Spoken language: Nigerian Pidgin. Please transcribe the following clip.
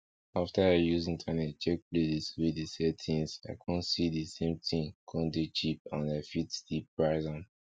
after i use internet check places wey dey sell tins i con see di same tin con dey cheap and i fit still price am